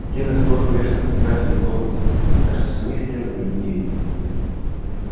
стены сплошь увешаны фотографиями локонса так что самих стен за ними не видно